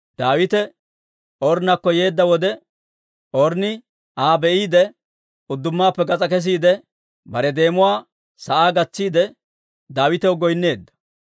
Daawite Ornnakko yeedda wode, Ornni Aa be'iide, uddumaappe gas'aa kesiide, bare deemuwaa sa'aa gatsiide, Daawitaw goyneedda.